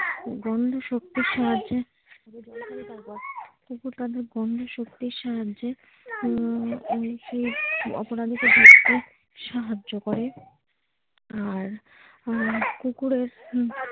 গন্ধ শক্তির সাহায্যে কুকুর তাদের গন্ধ শক্তির সাহায্যে উম অপরাধীকে ধরতে সাহায্য করে আর কুকুরের।